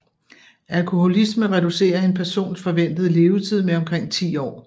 Alkoholisme reducerer en persons forventede levetid med omkring ti år